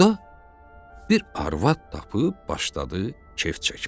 Burda bir arvad tapıb başladı kef çəkməyə.